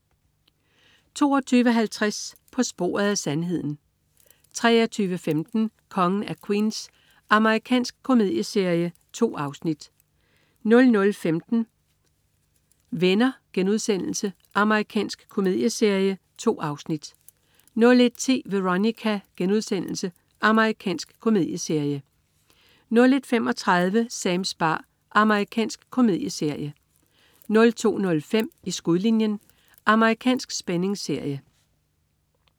22.50 På sporet af sandheden 23.15 Kongen af Queens. Amerikansk komedieserie. 2 afsnit 00.15 Venner.* Amerikansk komedieserie. 2 afsnit 01.10 Veronica.* Amerikansk komedieserie 01.35 Sams bar. Amerikansk komedieserie 02.05 I skudlinjen. Amerikansk spændingsserie